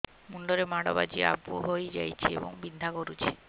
ମୁଣ୍ଡ ରେ ମାଡ ବାଜି ଆବୁ ହଇଯାଇଛି ଏବଂ ବିନ୍ଧା କରୁଛି